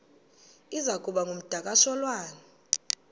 iza kuba ngumdakasholwana